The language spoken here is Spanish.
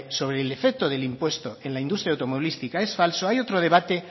sobre el efecto del impuesto en la industria automovilística es falso hay otro debate